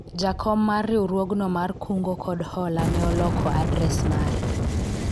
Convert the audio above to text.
jakom mar riwruogno mar kungo kod hola ne oloko adres mare